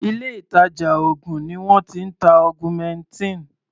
Ilé ìtàjà oògùn ni wọ́n ti ń ta augmentin.